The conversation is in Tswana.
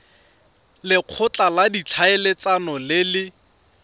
lekgotla la ditlhaeletsano le le